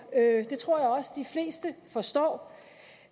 det tror jeg også de fleste forstår